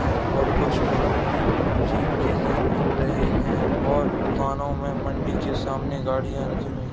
हैं और कुछ व्यक्ति सब्जी के साथ घूम रहे है और दुकानों में मंडी के सामने गाड़ियाँ रखी हुई --